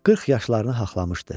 Qırx yaşlarını haqlamışdı.